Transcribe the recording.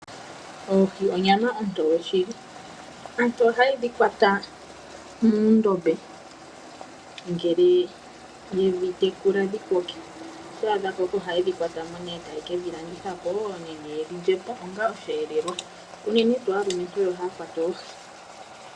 Oohi, onyama ontoye shili. Aantu oha ye dhi kwata muundombe ngele yedhi tekula dhi koke. Oto adha mboka oha yedhikwatamo nee taye kedhilandithapoo nenge yedhi lyepo onga oshi elelwa, unene tuu aalumentu oyo ha yakwata oohi